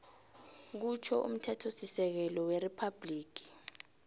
kutjho umthethosisekelo weriphabhligi